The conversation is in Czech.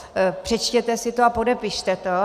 Přečtěte si to a podepište to.